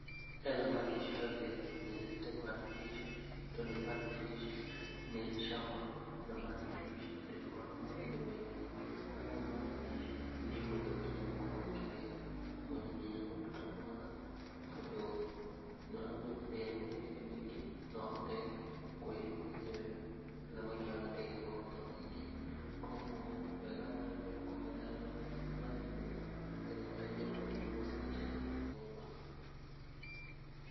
He thamaki ciothe nyendete mudfish tondũ mudfish nĩ ĩrĩ cama na mudfish ndĩkoragwo na mahĩndĩ maingĩ, ũguo mudfish nĩ ũhũthũ nginya gũkorwo ũkĩrĩa mwĩna nginya mũndũ ta mwana, tondũ nĩ ũramenya ndĩrĩ na mahĩndĩ maingĩ, no ũhote kwĩhe mwenyewe, thamaki o na ndĩrĩ maguta maingĩ, kũguo wega wayo nĩ gũkorwo ĩtarĩ na mahĩndĩ tondũ mahĩndĩ mau no mathece mũndũ.